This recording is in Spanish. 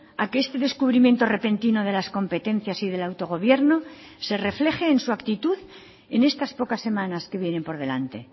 a que este descubrimiento repentino de las competencias y del autogobierno se refleje en su actitud en estas pocas semanas que vienen por delante